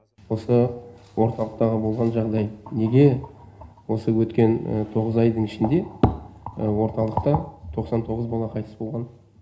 осы орталықтағы болған жағдай неге осы өткен тоғыз айдың ішінде орталықта тоқсан тоғыз бала қайтыс болған